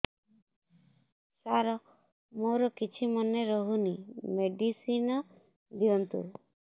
ସାର ମୋର କିଛି ମନେ ରହୁନି ମେଡିସିନ ଦିଅନ୍ତୁ